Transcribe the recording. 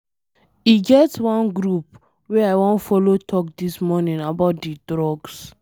E get one group wey I wan follow talk dis morning about the drugs.